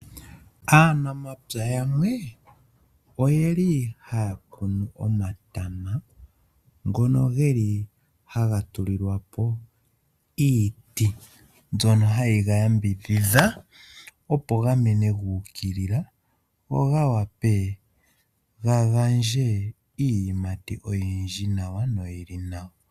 Aanamapya yamwe oye li haa kunu omatama, ngono geli haga tulilwa po iiti, mbyono hayi ga yamvidhidha, opo ga mene gubukilila, go ga wape ga gandje iiyimati oyindji nawa noyi li nawa.